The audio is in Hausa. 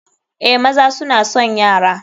Eh, maza suna son yara.